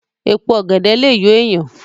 Èpo ọ̀gẹ̀dẹ̀ lè yọ èèyàn